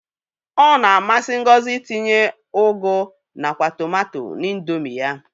Ọ na-amsị Ngozi itinye ụgụ nakwa tụmato n'Indomi ya.